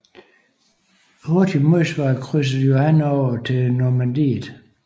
I hurtigt modsvar krydsede Johan over tili Normandiet